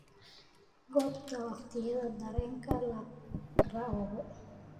goobta waqtiyada tareenka laka raogo